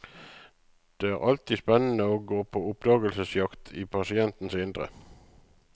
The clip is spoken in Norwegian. Det er alltid spennende å gå på oppdagelsesjakt i pasientenes indre.